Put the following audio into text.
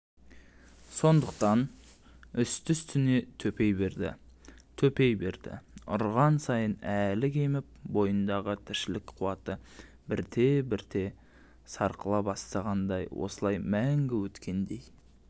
сондықтан үсті-үстіне төпей берді төпей берді ұрған сайын әлі кеміп бойындағы тіршілік қуаты бірте-бірте сарқыла бастағандай осылай мәңгі өткендей